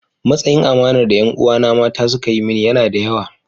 Matsayin amanar da ’yan uwana mata suka yi mini yana da yawa.